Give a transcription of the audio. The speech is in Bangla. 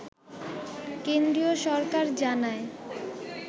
কেন্দ্রীয় সরকার জানায়